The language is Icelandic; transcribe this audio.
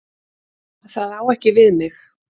Það á ekki við mig.